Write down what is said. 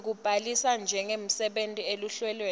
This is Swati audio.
sekubhalisa njengemsebentisi eluhlelweni